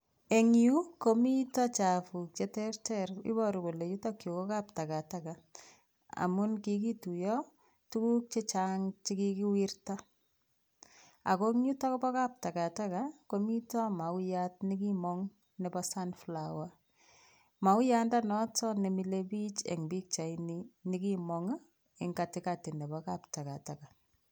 Eng Yu komito chapuk che ter ter iboru kole yutok yu ko kap takataka amun kikituyo tukuk che chang chekikiwirta ako yutok po kap takataka komito mauyat nekimong nepo sunflower mauandanoto nemilepich eng pichait nekimong eng katikati nepo kap takataka.